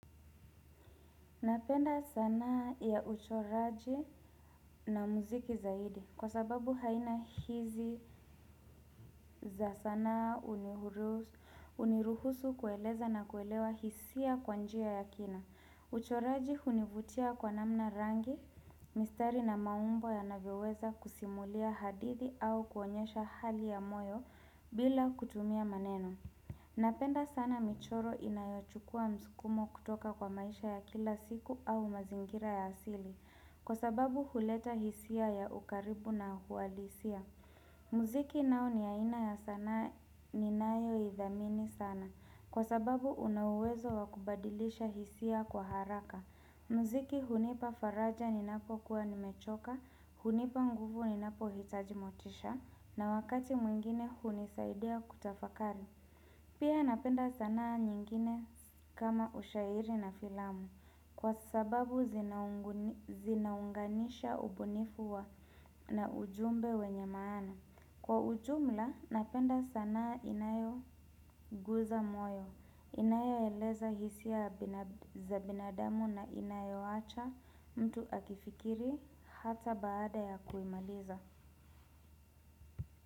Napenda sanaa ya uchoraji na muziki zaidi kwa sababu haina hizi za sanaa huniruhusu kueleza na kuelewa hisia kwa njia ya kina. Uchoraji hunivutia kwa namna rangi, mistari na maumbo yanavyoweza kusimulia hadithi au kuonyesha hali ya moyo bila kutumia maneno. Napenda sana michoro inayochukua msukumo kutoka kwa maisha ya kila siku au mazingira ya asili Kwa sababu huleta hisia ya ukaribu na uhalisia muziki nao ni aina ya sanaa ninayoidhamini sana Kwa sababu una uwezo wa kubadilisha hisia kwa haraka muziki hunipa faraja ninapokuwa nimechoka hunipa nguvu ninapohitaji motisha na wakati mwingine hunisaidia kutafakari Pia napenda sanaa nyingine kama ushairi na filamu kwa sababu zinaunganisha ubunifu wa na ujumbe wenye maana. Kwa ujumla napenda sanaa inayoguza moyo. Inayoeleza hisia za binadamu na inayoacha mtu akifikiri hata baada ya kuimaliza.